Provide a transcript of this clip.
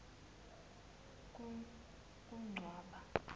kuncwaba